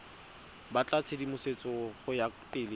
batla tshedimosetso go ya pele